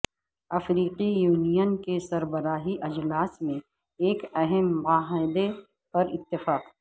افریقی یونین کے سربراہی اجلاس میں ایک اہم معاہدے پر اتفاق